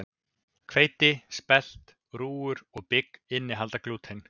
Hveiti, spelt, rúgur og bygg innihalda glúten.